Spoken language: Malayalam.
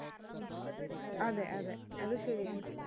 അതെ അതെ അത് ശരിയാണ്